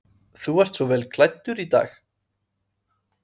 Hugrún: Þú ert svo vel klæddur í dag?